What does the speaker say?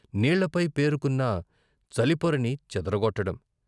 కృష్ణలో నీళ్ళపై పేరుకున్న చలిపొరని చెదర గొట్టడం.